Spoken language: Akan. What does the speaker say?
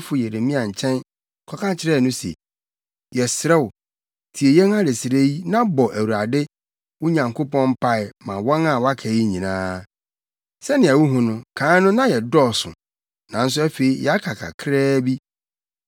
odiyifo Yeremia nkyɛn kɔka kyerɛɛ no se, “Yɛsrɛ wo, tie yɛn adesrɛ yi na bɔ Awurade, wo Nyankopɔn mpae ma wɔn a wɔaka yi nyinaa. Sɛnea wuhu no, kan no na yɛdɔɔso nanso afei yɛaka kakraa bi.